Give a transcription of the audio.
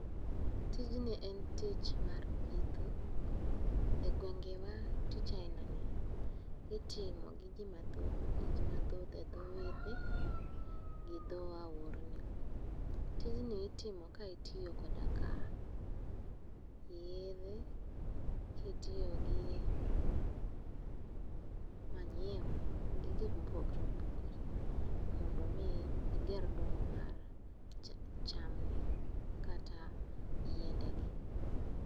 Tinji en tich mar pitho e gwenge ma tich ainani itimo gi ji mathoth e dho wedhe gi dho aorni. Tijni itimo ka itiyo koda ka yedhe, kitiyo gi manyiwa gi gik mopogore opogore mondo mi iger dongo mar chamni kata yiendegi.